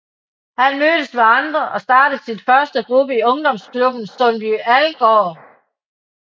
Han mødtes med andre og startede sin første gruppe i ungdomsklubben Sundby Algård